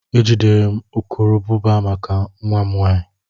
E jidere m urukurubụba maka nwa m nwanyị.